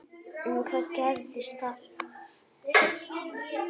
En hvað gerðist þar?